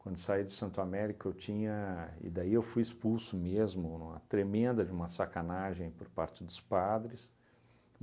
Quando saí de Santo Américo, eu tinha... E daí eu fui expulso mesmo, numa tremenda, de uma sacanagem por parte dos padres.